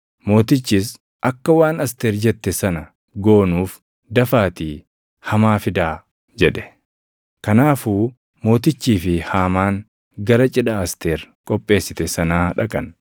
Mootichis, “Akka waan Asteer jette sana goonuuf dafaatii Hamaa fidaa” jedhe. Kanaafuu mootichii fi Haamaan gara cidha Asteer qopheessite sanaa dhaqan.